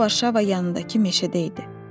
O Varşava yanındakı meşədə idi.